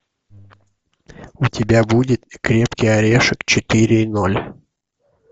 у тебя будет крепкий орешек четыре и ноль